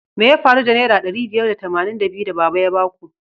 Me ya faru da naira ɗari biyar da tamanin da biyu da baba ya baku?